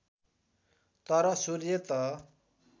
तर सूर्य त